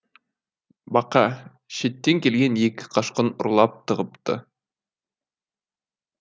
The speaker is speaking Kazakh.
бақа шеттен келген екі қашқын ұрлап тығыпты